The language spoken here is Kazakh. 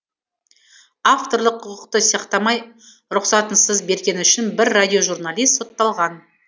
авторлық құқықты сақтамай рұқсатынсыз бергені үшін бір радиожурналист сотталған